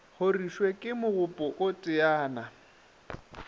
horišwe ke mogopo o teyana